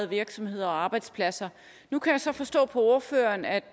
virksomheder og arbejdspladser nu kan jeg så forstå på ordføreren at